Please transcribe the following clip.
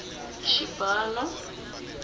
xibalo